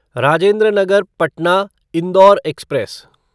Rajendra Nagar Patna Indore express